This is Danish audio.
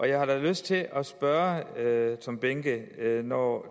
jeg har da lyst til at spørge herre tom behnke når